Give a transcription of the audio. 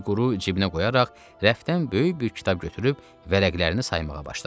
Fiquru cibinə qoyaraq rəfdən böyük bir kitab götürüb vərəqlərini saymağa başladı.